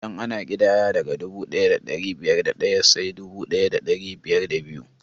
Idan ana ƙidaya, daga dubu ɗaya da ɗari biyar da ɗaya sai dubu ɗaya da ɗari biyar da biyu